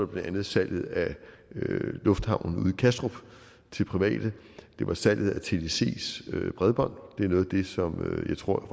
blandt andet salget af lufthavnen i kastrup til private det var salget af tdcs bredbånd det er noget af det som jeg tror